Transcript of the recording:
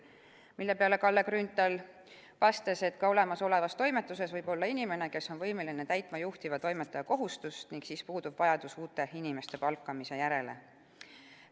Selle peale vastas Kalle Grünthal, et ka olemasolevas toimetuses võib juba olla inimene, kes on võimeline täitma juhtiva toimetaja kohustust, ning sel juhul puudub vajadus uute inimeste palkamise järele.